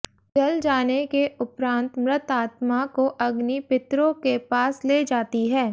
जल जाने के उपरान्त मृतात्मा को अग्नि पितरों के पास ले जाती है